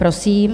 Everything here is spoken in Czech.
Prosím.